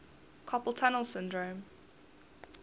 carpal tunnel syndrome